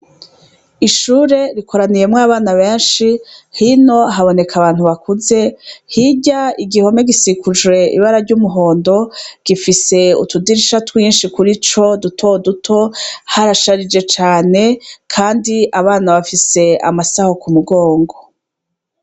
Ishure rikoraniyemwo abana benshi hino haboneka abantu bakuze hirya igihome gisikujwe ibara ry'umuhondo gifise utudirisha twinshi kuri co duto duto harasharije cane, kandi abana bafise amasaho ku mugongo.